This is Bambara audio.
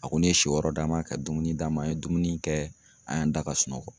A kɔni ye si yɔrɔ d'a ma, ka dumuni d'a ma, an ye dumuni kɛ, an y'an da ka sunɔgɔ.